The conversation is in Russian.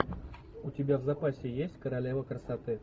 у тебя в запасе есть королева красоты